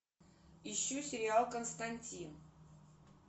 ищу сериал константин